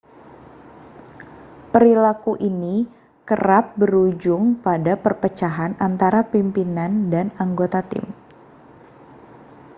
perilaku ini kerap berujung pada perpecahan antara pimpinan dan anggota tim